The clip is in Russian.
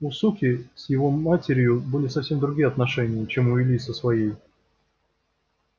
у суки с его матерью были совсем другие отношения чем у ильи со своей